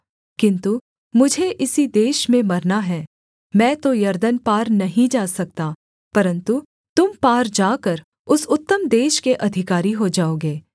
किन्तु मुझे इसी देश में मरना है मैं तो यरदन पार नहीं जा सकता परन्तु तुम पार जाकर उस उत्तम देश के अधिकारी हो जाओगे